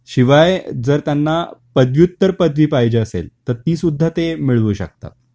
शिवाय जर त्यांना पदव्युत्तर पदवी पाहिजे असेल तर ती सुद्धा ते मिळवू शकता